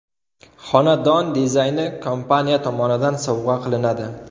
Xonadon dizayni kompaniya tomonidan sovg‘a qilinadi.